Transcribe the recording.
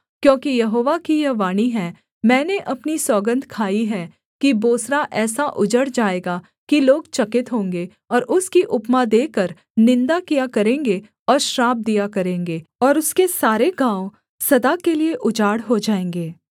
क्योंकि यहोवा की यह वाणी है मैंने अपनी सौगन्ध खाई है कि बोस्रा ऐसा उजड़ जाएगा कि लोग चकित होंगे और उसकी उपमा देकर निन्दा किया करेंगे और श्राप दिया करेंगे और उसके सारे गाँव सदा के लिये उजाड़ हो जाएँगे